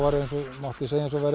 mátti segja að það væri